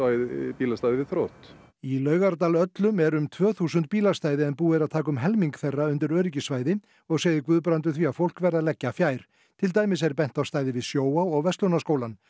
bílastæði við þrótt í Laugardal öllum eru um tvö þúsund bílastæði en búið er að taka um helming þeirra undir öryggissvæði og segir Guðbrandur því að fólk verði að leggja fjær til dæmis er bent á stæði við Sjóvá og Verslunarskólann